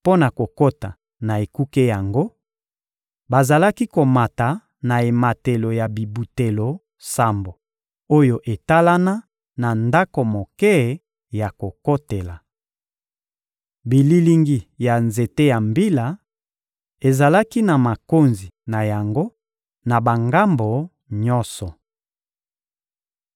Mpo na kokota na ekuke yango, bazalaki komata na ematelo ya bibutelo sambo oyo etalana na ndako moke ya kokotela. Bililingi ya nzete ya mbila ezalaki na makonzi na yango na bangambo nyonso.